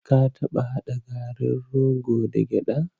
Ka taɓa haɗa garin rogo da gyaɗa?